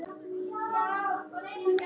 Þinn nafni Benóný.